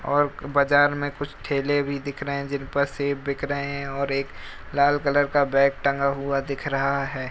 और बाजार मे कुछ ठेले भी दिख रहे है जिनपे सेब बिक रहे हैं और एक लाल कलर का बैग टंगा हुआ दिख रहा है।